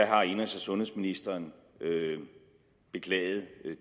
har indenrigs og sundhedsministeren beklaget